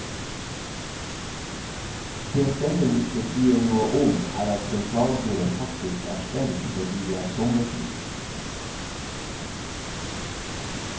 Det stemmen ikke sier noe om er at sentralbordet faktisk er stengt fordi det er sommertid.